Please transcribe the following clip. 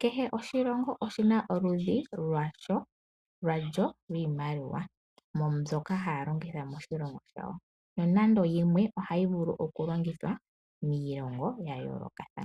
Kehe oshilongo oshi na oludhi lwasho lwiimaliwa mbyoka hayi longithwa moshilongo shawo, nonando yimwe hayi vulu okulongithwa miilongo ya yoolokathana.